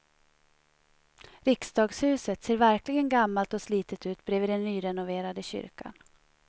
Riksdagshuset ser verkligen gammalt och slitet ut bredvid den nyrenoverade kyrkan.